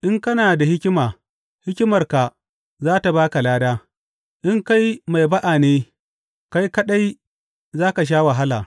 In kana da hikima, hikimarka za tă ba ka lada; in kai mai ba’a ne, kai kaɗai za ka sha wahala.